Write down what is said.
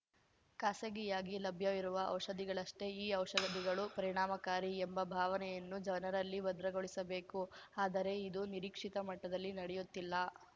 ಖಾಸಗಿಯಾಗಿ ಲಭ್ಯವಿರುವ ಔಷಧಿಗಳಷ್ಟೇ ಈ ಔಷಧಿಗಳೂ ಪರಿಣಾಮಕಾರಿ ಎಂಬ ಭಾವನೆಯನ್ನು ಜನರಲ್ಲಿ ಭದ್ರಗೊಳಿಸಬೇಕು ಆದರೆ ಇದು ನಿರೀಕ್ಷಿತ ಮಟ್ಟದಲ್ಲಿ ನಡೆಯುತ್ತಿಲ್ಲ